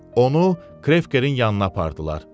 Onu Krekkerin yanına apardılar.